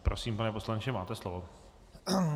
Prosím, pane poslanče, máte slovo.